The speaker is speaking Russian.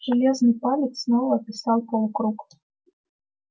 железный палец снова описал полукруг